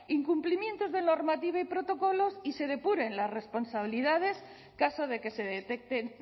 incumplimientos de normativa y protocolos y se depuren las responsabilidades caso de que se detecten